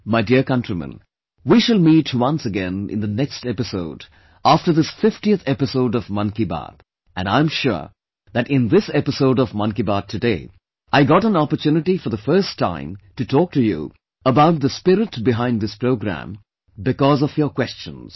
My dear countrymen, we shall meet once again in the next episode after this 50th episode of Mann Ki Baat and I am sure that in this episode of Mann Ki Baat today I got an opportunity for the first time to talk to you about the spirit behind this programme because of your questions